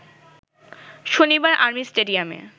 শনিবার আর্মি স্টেডিয়ামে